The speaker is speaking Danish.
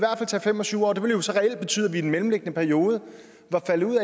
tage fem og tyve år det ville så reelt betyde at vi i den mellemliggende periode var faldet ud